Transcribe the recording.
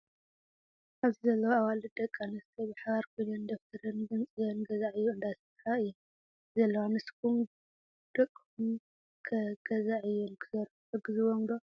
ኣብዚ ዘለዋ ኣዋልድ ደቂ ኣንስትዮ ብሓባር ኮይነን ደፍተርን ገንፂለን ገዛዕዮ እንዳሰርሓ እዩን ዘለዋ። ንስኩም ደቅሙም ከ ገዛ ዕዮ ንክሰርርሑ ትሕግዝዎም ዶ?